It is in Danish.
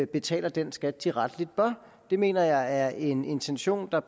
betaler den skat de rettelig bør det mener jeg er en intention der